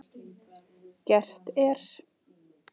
Gert er